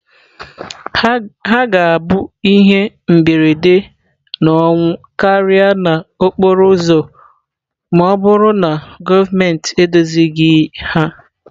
Ha ga-abụ ihe mberede na ọnwụ karịa n'okporo ụzọ ma ọ bụrụ na gọọmentị edozighị ha.